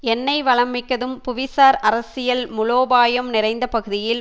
எண்ணெய் வளம் மிக்கதும் புவி சார் அரசியல் மூலோபாயம் நிறைந்த பகுதியில்